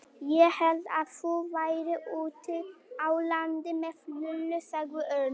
Ég hélt að þú værir úti á landi með Lúlla sagði Örn.